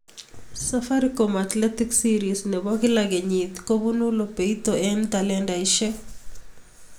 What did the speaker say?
Safaricom Athletics series ne bo kila kenyii koibuu lobeito eng talantaishe.